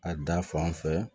A da fan fɛ